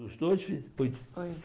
Os dois fi... Oi, desculpa.